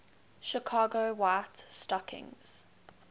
chicago white stockings